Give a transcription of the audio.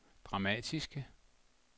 dramatiske